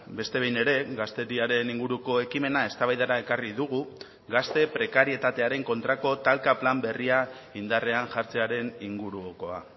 beste behin ere gazteriaren inguruko ekimena eztabaidara ekarri dugu gazte prekarietatearen kontrako talka plan berria indarrean jartzearen ingurukoa